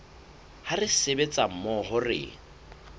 ha re sebetsa mmoho re